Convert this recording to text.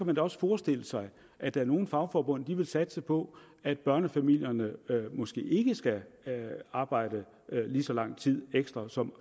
man også forestille sig at nogle fagforbund vil satse på at børnefamilierne måske ikke skal arbejde lige så lang tid ekstra som